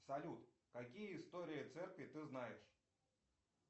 салют какие истории церкви ты знаешь